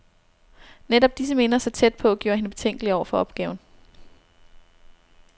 Netop disse minder, så tæt på, gjorde hende betænkelig over for opgaven.